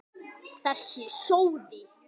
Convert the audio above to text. Þessi sóði!